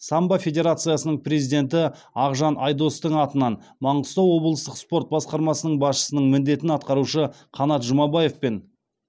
самбо федерациясының президенті ақжан айдостың атынан маңғыстау облыстық спорт басқармасының басшысының міндетін атқарушы қанат жұмабаевпен